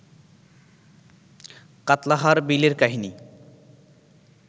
কাত্লাহার বিলের কাহিনি